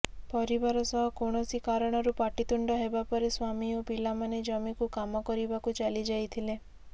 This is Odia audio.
ପରିବାର ସହ କୌଣସି କାରଣରୁ ପାଟିତୁଣ୍ଡ ହେବା ପରେ ସ୍ୱାମୀ ଓ ପିଲାମାନେ ଜମିକୁ କାମ କରିବାକୁ ଚାଲିଯାଇଥିଲେ